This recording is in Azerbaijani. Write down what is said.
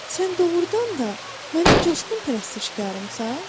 Sən doğrudan da mənim coşqun pərəstişkarımsan?